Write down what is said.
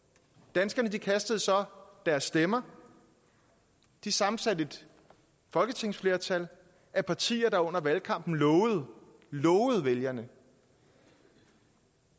danskerne kastede så deres stemmer de sammensatte et folketingsflertal af partier der under valgkampen lovede lovede vælgerne